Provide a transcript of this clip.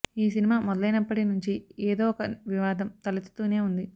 ఈ సినిమా మొదలైనప్పటి నుంచి ఏదో ఒక వివాదం తలెత్తుతూనే ఉంది